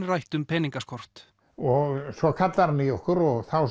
rætt um peningaskort og svo kallar hann í okkur og þá